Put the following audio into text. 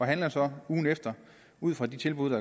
handler så ugen efter ud fra de tilbud